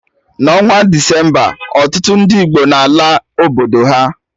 Na onwa Decemba, ọtụtụ ndị Igbo n'ala obodo ha